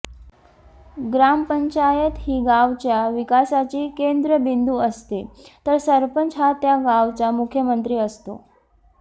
ग्रामपंचायत ही गावच्या विकासाची केंद्रबिंदू असते तर सरपंच हा त्या गावचा मुख्यमंत्री असतो